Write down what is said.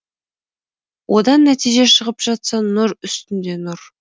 одан нәтиже шығып жатса нұр үстінде нұр